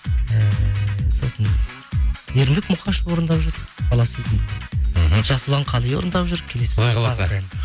ііі сосын ермек мұқашов орындап жүр бала сезімді мхм жасұлан қали орындап жүр құдай қаласа